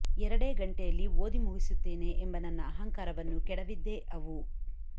ಎರಡೇ ಗಂಟೆಯಲ್ಲಿ ಓದಿ ಮುಗಿಸುತ್ತೇನೆ ಎಂಬ ನನ್ನ ಅಹಂಕಾರವನ್ನು ಕೆಡವಿದ್ದೇ ಅವು